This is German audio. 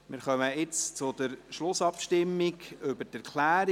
Wir kommen nun zur Schlussabstimmung über die Erklärung.